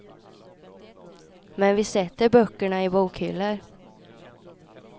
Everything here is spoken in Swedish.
Men vi sätter böckerna i bokhyllor.